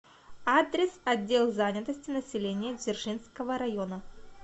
адрес отдел занятости населения дзержинского района